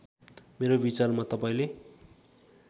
मेरो विचारमा तपाईँले